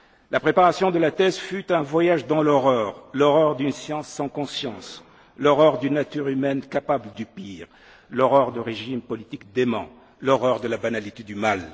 La préparation de la thèse fut un voyage dans l'horreur, l'horreur d'une science sans conscience, l'horreur d'une nature humaine capable du pire, l'horreur de régimes politiques déments, l'horreur de la banalité